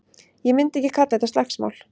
Ég myndi ekki kalla þetta slagsmál.